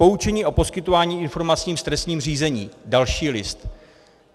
Poučení o poskytování informací v trestním řízení: další list.